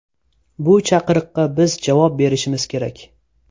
Bu chaqiriqqa biz javob berishimiz kerak.